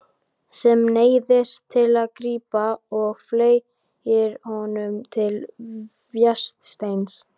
Sem neyðist til að grípa og fleygir honum til Vésteins.